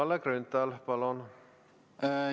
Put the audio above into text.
Kalle Grünthal, palun!